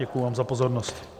Děkuji vám za pozornost.